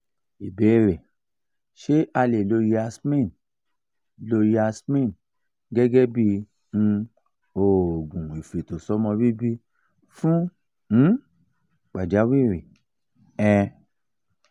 ìbéèrè: ṣé a lè lo yasmin lo yasmin gẹ́gẹ́ bí um oògùn ifetosomo bibi fun um pajawiri? um